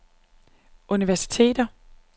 universiteter